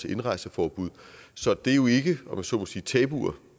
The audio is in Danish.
indrejseforbud så det er jo ikke om jeg så må sige tabuer